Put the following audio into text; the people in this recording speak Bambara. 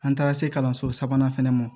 An taara se kalanso sabanan fana ma